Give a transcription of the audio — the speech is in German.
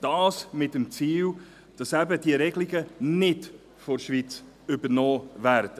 Dies mit dem Ziel, dass diese Regelungen von der Schweiz nicht übernommen werden.